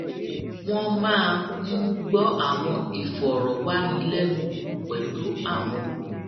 wón máa ń gbó àwọn ìfòròwánilénuwò pẹlú àwọn